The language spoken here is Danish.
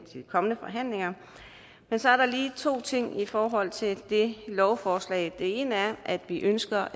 de kommende forhandlinger men så er der lige to ting i forhold til det lovforslag den ene er at vi ønsker